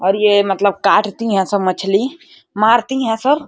और ये मतलब काटती है सब मछली मारती है सब।